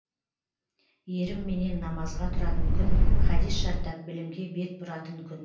ерімменен намазға тұратын күн хадис жаттап білімге бет бұратын күн